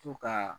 To ka